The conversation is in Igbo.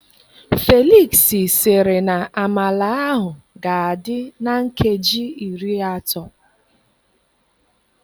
Felix siri na amala ahụ ga adị na nkeji iri atọ